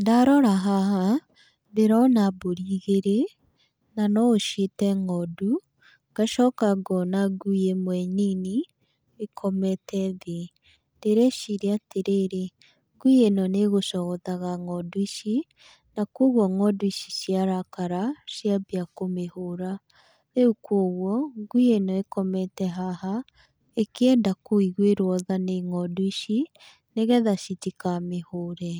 Ndarora haha ndĩrona mbũri igĩrĩ, na no ũciĩte ng'ondu, ngacoka ngona ngui ĩmwe nini ĩkomete thĩ. Ndĩreciria atĩrĩrĩ, ngui ĩno nĩ ĩgũcogothaga ng'ondu ici na kũoguo ng'ondu ici ciarakara na cianjia kũmĩhũra. Rĩu kũoguo ngui ĩno ĩkomete haha ĩkĩenda kũiguĩrwo tha nĩ ng'ondu ici nĩgetha citikamĩhũre.